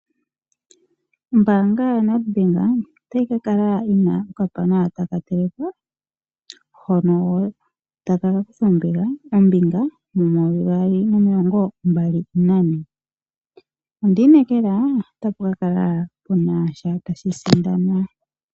Ombanga yaNedBank otayi ka kala yina okapana taka telekwa, hono taka kutha ombinga mo 2024. Ondi inekela otapu kala punasha tashi sindanwa.